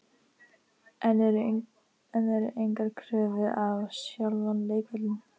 En eru engar kröfur á sjálfan leikvöllinn?